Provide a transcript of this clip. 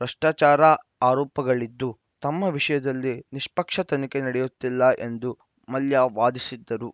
ಭ್ರಷ್ಟಾಚಾರ ಆರೋಪಗಳಿದ್ದು ತಮ್ಮ ವಿಷಯದಲ್ಲಿ ನಿಷ್ಪಕ್ಷ ತನಿಖೆ ನಡೆಯುತ್ತಿಲ್ಲ ಎಂದು ಮಲ್ಯ ವಾದಿಸಿದ್ದರು